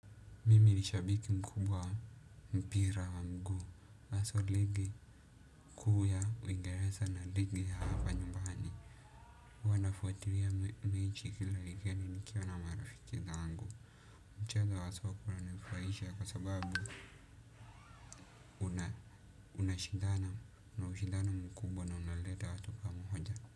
Mimi ni shabiki mkubwa wa mpira wa mguu, hasa ligi kuu ya uingereza na ligi ya hapa nyumbani, huwa nafuatilia mechi kila wikendi nikiwa na marafiki zangu. Mchezo wa soka unanifurahisha kwa sababu unashindana, una ushindano mkubwa na unaleta watu pamoja.